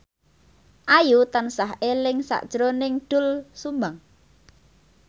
Ayu tansah eling sakjroning Doel Sumbang